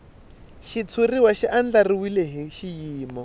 xitshuriwa xi andlariwile hi xiyimo